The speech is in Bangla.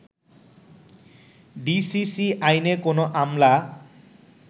ডিসিসি আইনে কোনো আমলা